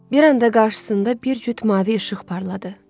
Bir anda qarşısında bir cüt mavi işıq parladı.